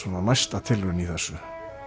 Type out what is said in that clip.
næsta tilraun í þessu